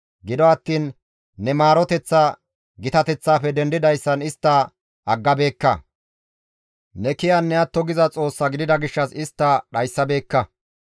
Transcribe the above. Gido attiin ne maaroteththa gitateththaafe dendidayssan istta aggabeekka; Ne kiyanne atto giza Xoossaa gidida gishshas istta dhayssabeekka.